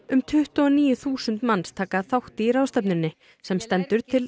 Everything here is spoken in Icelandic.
um tuttugu og níu þúsund manns taka þátt í ráðstefnunni sem stendur til